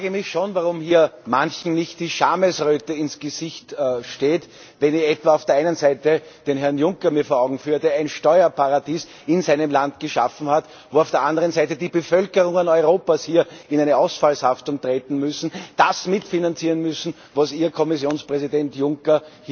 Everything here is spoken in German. Ich frage mich schon, warum hier manchen nicht die Schamesröte im Gesicht steht, wenn ich mir etwa auf der einen Seite den Herrn Juncker vor Augen führe, der in seinem Land ein Steuerparadies geschaffen hat, wo auf der anderen Seite die Bevölkerungen Europas in eine Ausfallshaftung treten müssen, das mitfinanzieren müssen, was Ihr Kommissionspräsident Juncker